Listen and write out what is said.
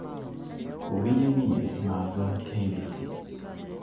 wiye wiye mag k. b. c.